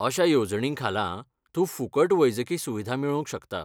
अश्या येवजणींखाला, तूं फुकट वैजकी सुविधा मेळोवंक शकता.